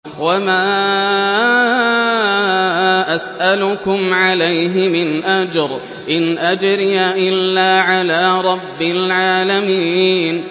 وَمَا أَسْأَلُكُمْ عَلَيْهِ مِنْ أَجْرٍ ۖ إِنْ أَجْرِيَ إِلَّا عَلَىٰ رَبِّ الْعَالَمِينَ